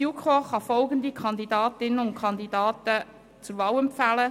Die JuKo kann folgende Kandidatinnen und Kandidaten zur Wahl empfehlen: